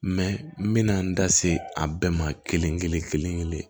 n bɛna n da se a bɛɛ ma kelen kelen kelen kelen